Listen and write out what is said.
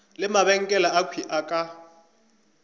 le mabenkele akhwi a ka